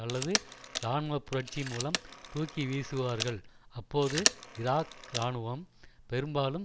அல்லது இராணுவ புரட்சி மூலம் தூக்கிவீசுவார்கள் அப்போது ஈராக் இராணுவம் பெரும்பாலும்